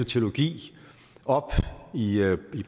teologi op i